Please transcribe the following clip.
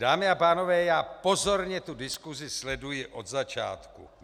Dámy a pánové, já pozorně tu diskusi sleduji od začátku.